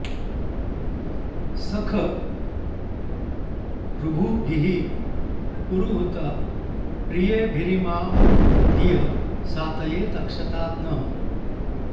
सख॑ ऋ॒भुभिः॑ पुरुहूत प्रि॒येभि॑रि॒मां धियं॑ सा॒तये॑ तक्षता नः